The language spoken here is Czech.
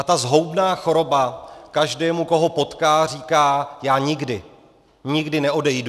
A ta zhoubná choroba každému, koho potká, říká: já nikdy, nikdy neodejdu.